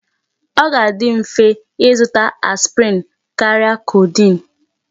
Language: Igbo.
Ọ ga-adi mfe ịzụta aspirin karịa codeine.